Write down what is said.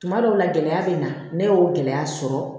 Tuma dɔw la gɛlɛya bɛ n na ne y'o gɛlɛya sɔrɔ